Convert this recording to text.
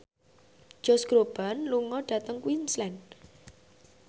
Josh Groban lunga dhateng Queensland